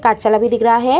भी दिख रहा है |